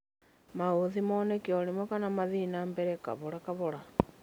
maũthĩ moneke o rĩmwe kana mathiĩ na mbere kahora kahora.